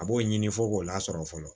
A b'o ɲini fo k'o lasɔrɔ fɔlɔ